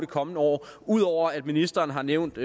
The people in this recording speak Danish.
kommende år ud over at ministeren har nævnt